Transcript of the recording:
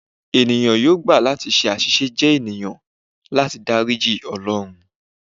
Eniyan yoo gba lati ṣe aṣiṣe jẹ eniyan, lati dariji Ọlọrun